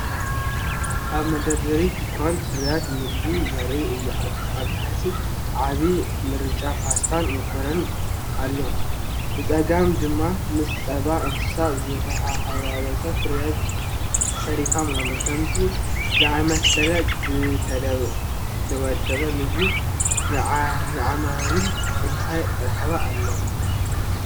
ኣብ መደርደሪ ድኳን ፍርያት መግቢ ዘርኢ እዩ። ኣብ ታሕቲ፡ ዓቢ ምርጫ ፓስታን ማኮሮኒ ኣሎ። ብጸጋም ድማ ምስ ጸባ እንስሳ ዝተሓዋወሰ ፍርያት "ሴሪፋም" ኣሎ። ከምዚ ዝኣመሰለ ዝተወደበ ምግቢ ንዓማዊል እንታይ ረብሓ ኣለዎ?